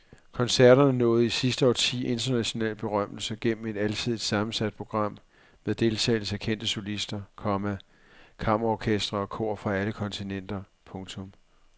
Koncerterne nåede i sidste årti international berømmelse gennem et alsidigt sammensat program med deltagelse af kendte solister, komma kammerorkestre og kor fra alle kontinenter. punktum